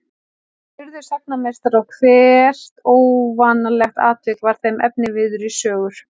Þeir urðu sagnameistarar og hvert óvanalegt atvik varð þeim efniviður í sögur.